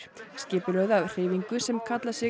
skipulögð af hreyfingu sem kallar sig